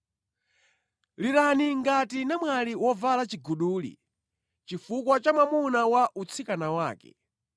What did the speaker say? Lirani ngati namwali wovala chiguduli, chifukwa cha mwamuna wa utsikana wake.